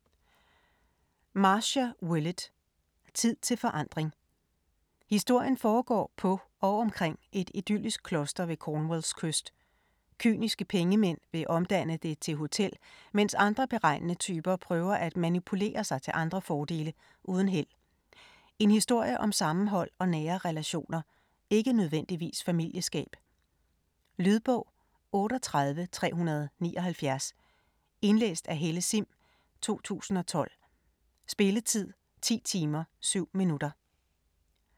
Willett, Marcia: Tid til forandring Historien foregår på og omkring et idyllisk kloster ved Cornwalls kyst. Kyniske pengemænd vil omdanne det til hotel, mens andre beregnende typer prøver at manipulere sig til andre fordele, uden held. En historie om sammenhold og nære relationer, ikke nødvendigvis familieskab. Lydbog 38379 Indlæst af Helle Sihm, 2012. Spilletid: 10 timer, 7 minutter.